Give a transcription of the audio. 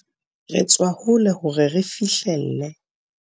Re tswa hole hore re fihlelle